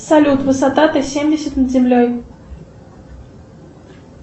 салют высота т семьдесят над землей